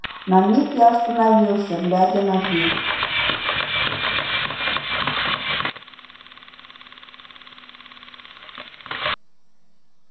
на миг я остановился глядя на дверь